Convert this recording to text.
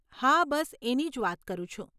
હા બસ એની જ વાત કરું છું.